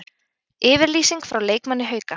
Yfirlýsing frá leikmanni Hauka